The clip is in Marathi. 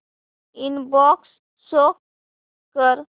इनबॉक्स शो कर